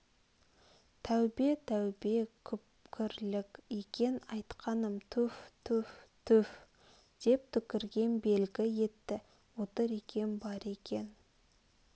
тәубе тәубе күпрлік екен айтқаным түф түф түф деп түкірген белгі етті отыр екен бар екен